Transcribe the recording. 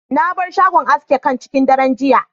Na bar shagon aski can cikin daren jiya.